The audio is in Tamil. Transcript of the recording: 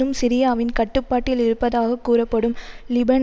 இன்னும் சிரியாவின் கட்டுப்பாட்டில் இருப்பதாக கூறப்படும் லிபனேன்